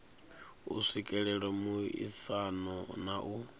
u swikelela muaisano na u